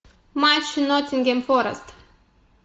матч ноттингем форест